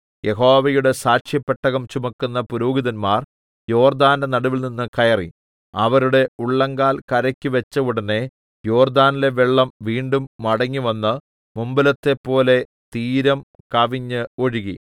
യഹോവയുടെ സാക്ഷ്യപെട്ടകം ചുമക്കുന്ന പുരോഹിതന്മാർ യോർദ്ദാന്റെ നടുവിൽനിന്ന് കയറി അവരുടെ ഉള്ളങ്കാൽ കരെക്ക് വെച്ച ഉടനെ യോർദ്ദാനിലെ വെള്ളം വീണ്ടും മടങ്ങിവന്ന് മുമ്പിലത്തെപ്പോലെ തീരം കവിഞ്ഞ് ഒഴുകി